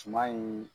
Suma in